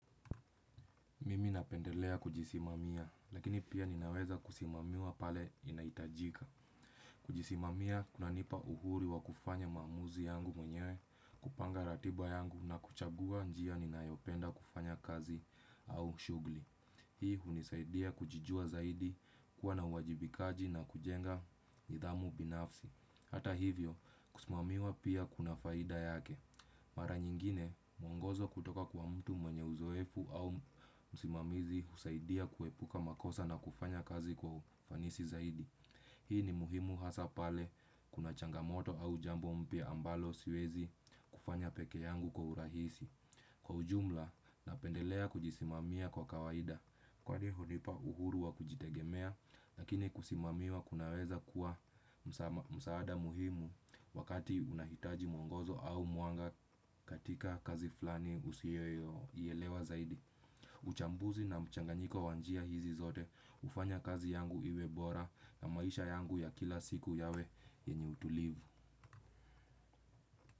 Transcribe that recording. Mimi napendelea kujisimamia, lakini pia ninaweza kusimamiwa pale inaitajika. Kujisimamia, kuna nipa uhuri wa kufanya mamuzi yangu mwenye, kupanga ratiba yangu na kuchagua njia ninayopenda kufanya kazi au shugli. Hii hunisaidia kujijua zaidi kuwa na uwajibikaji na kujenga nidhamu binafsi. Hata hivyo, kusimamiwa pia kuna faida yake. Mara nyingine, mwongozo kutoka kwa mtu mwenye uzoefu au musimamizi husaidia kuepuka makosa na kufanya kazi kwa ufanisi zaidi. Hii ni muhimu hasapale kuna changamoto au jambo mpia ambalo siwezi kufanya peke yangu kwa urahisi. Kwa ujumla, napendelea kujisimamia kwa kawaida. Kwa ni hunipa uhuru wa kujitegemea, lakini kusimamiwa kunaweza kuwa msaada muhimu wakati unahitaji mwongozo au mwanga katika kazi flani usiyoilewa zaidi. Uchambuzi na mchanganyiko wanjia hizi zote, ufanya kazi yangu iwebora na maisha yangu ya kila siku yawe yenye utulivu.